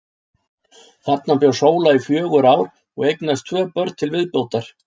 Þarna bjó Sóla í fjögur ár og eignaðist tvö börn til viðbótar.